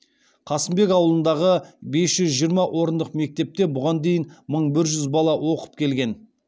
қасымбек ауылындағы бес жүз жиырма орындық мектепте бұған дейін мың бір жүз бала оқып келген